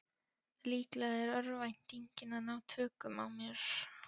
Líklega er örvæntingin að ná tökum á mér.